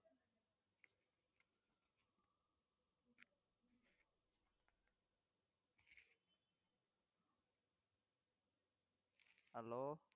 hello